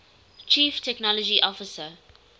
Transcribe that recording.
chief technology officer